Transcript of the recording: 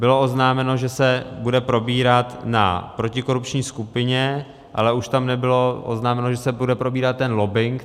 Bylo oznámeno, že se bude probírat na protikorupční skupině, ale už tam nebylo oznámeno, že se bude probírat ten lobbing.